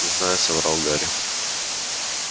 не знаю соврал гарри